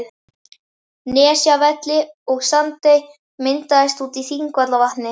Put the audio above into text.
Nesjavelli, og Sandey myndaðist úti í Þingvallavatni.